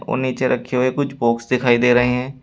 और नीचे रखे हुए कुछ बॉक्स दिखाई दे रहे हैं।